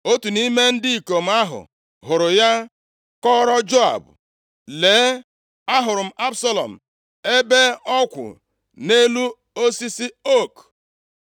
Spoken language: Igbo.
Otu nʼime ndị ikom ahụ hụrụ ya, kọọrọ Joab, “Lee, ahụrụ m Absalọm ebe ọ kwụ nʼelu osisi ook.”